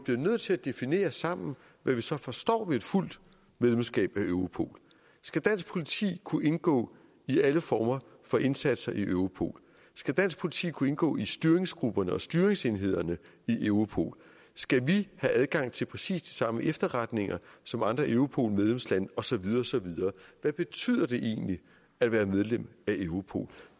nødt til at definere sammen hvad vi så forstår ved et fuldt medlemskab af europol skal dansk politi kunne indgå i alle former for indsatser i europol skal dansk politi kunne indgå i styringsgrupperne og styringsenhederne i europol skal vi have adgang til præcis de samme efterretninger som andre europol medlemslande og så videre osv hvad betyder det egentlig at være medlem af europol